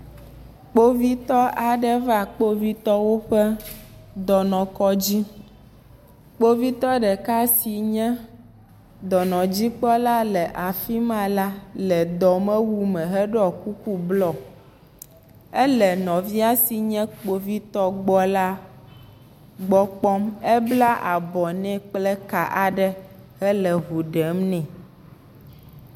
Kpovitɔ aɖe va kpovitɔwo ƒe dɔnɔkɔdzi, kpovitɔ ɖeka si nye dɔnɔdzikpɔla le afi ma la ɖɔ kuku blɔ, ele nɔvia si nye kpovitɔ gbɔ la gbɔ kpɔm, ebla abɔ nɛ kple eka aɖe hele ŋu ɖem nɛ.